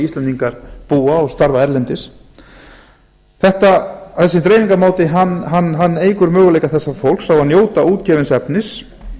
íslendingar búa og starfa erlendis þessi dreifingarmáti eykur möguleika þessa fólks á að njóta útgefins efnis